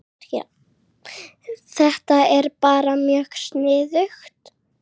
Þetta er bara mjög sniðugt